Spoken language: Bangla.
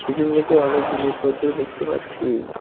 পিছনদিকে অনেক জিনিসপত্র দেখতে পাচ্ছি।